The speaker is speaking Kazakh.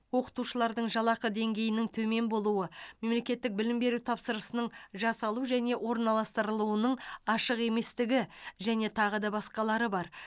оқытушылардың жалақы деңгейінің төмен болуы мемлекеттік білім беру тапсырысының жасалу және орналастырылуының ашық еместігі және тағы да басқалары бар